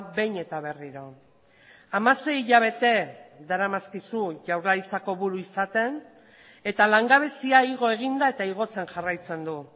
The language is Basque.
behin eta berriro hamasei hilabete daramazkizu jaurlaritzako buru izaten eta langabezia igo egin da eta igotzen jarraitzen du